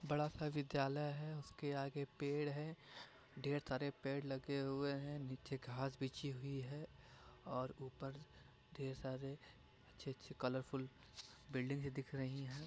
बड़ा सा विद्यालय है उसके आगे पेड़ है ढेर सारे पेड़ लगे हुए हैं नीचे घास बिछी हुई है और ऊपर ढेर सारे अच्छे-अच्छे कलरफुल बिल्डिंग भी दिख रही हैं।